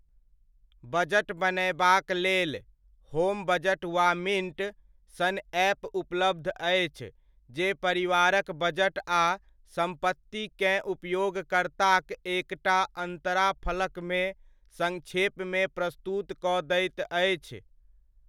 Budget बनयबाक लेल, home budget वा मिण्ट, सन ऐप उपलब्ध अछि जे परिवारक बजट आ सम्पतिकेँ उपयोगकर्ताक एक टा अन्तराफलकमे सङ्क्षेपमे प्रस्तुत कऽ दैत अछि।